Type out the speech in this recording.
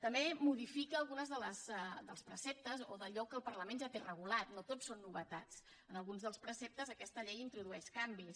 també modifica alguns dels preceptes o d’allò que el parlament ja té regulat no tot són novetats en alguns dels preceptes aquesta llei introdueix canvis